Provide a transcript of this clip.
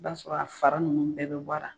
I b'a sɔrɔ a fara nunnu bɛɛ be bɔ a la.